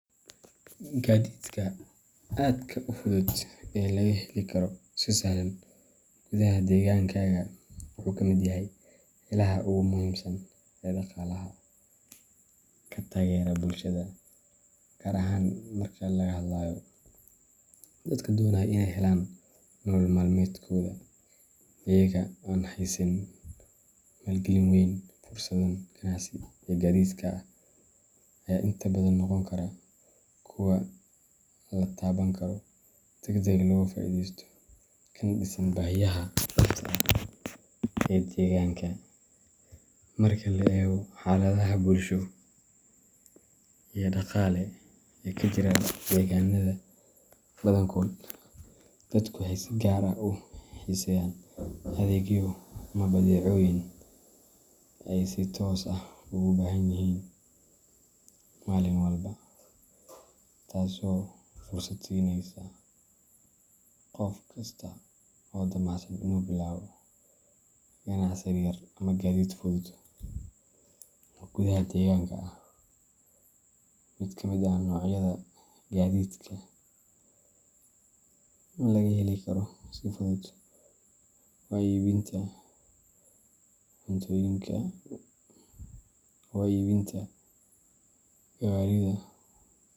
Gadidka aadka u fudud ee laga heli karo si sahlan gudaha deegaankaaga wuxuu ka mid yahay ilaha ugu muhiimsan ee dhaqaalaha ka taageera bulshada, gaar ahaan marka laga hadlayo dadka doonaya inay helaan nolol maalmeedkooda iyagoo aan haysan maalgelin weyn. Fursadahan ganacsi ee gadidka ah ayaa inta badan noqon kara kuwo la taaban karo, degdeg looga faa’iidaysto, kana dhisan baahiyaha dhabta ah ee deegaanka. Marka la eego xaaladaha bulsho iyo dhaqaale ee ka jira deegaanada badankood, dadku waxay si gaar ah u xiiseeyaan adeegyo ama badeecooyin ay si toos ah ugu baahanyihiin maalin walba, taasoo fursad siinaysa qof kasta oo damacsan inuu bilaabo ganacsi yaryar ama gadid fudud oo gudaha deegaanka ah. Mid ka mid ah noocyada gadidka laga heli karo si fudud waa iibinta gawaridha.